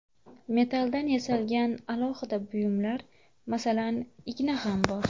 Metalldan yasalgan alohida buyumlar, masalan, igna ham bor.